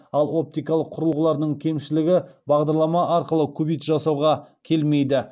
ал оптикалық құрылғылардың кемшілігі бағдарлама арқылы кубит жасауға келмейді